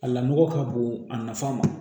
A lamɔkɔ ka bon a nafa ma